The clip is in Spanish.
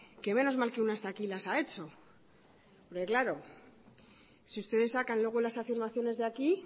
que menos mal que una está aquí y las ha hecho porque claro si ustedes sacan luego las afirmaciones de aquí